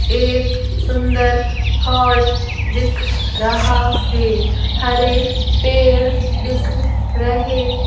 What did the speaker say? एक सुंदर हॉल दिख रहा है हरे पेड़ दिख रहे--